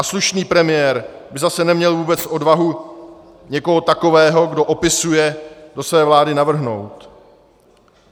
A slušný premiér by zase neměl vůbec odvahu někoho takového, kdo opisuje, do své vlády navrhnout.